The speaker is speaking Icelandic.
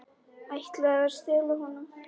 Ætlaði að stela honum!